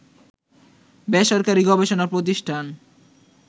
বেসরকারী গবেষণা প্রতিষ্ঠান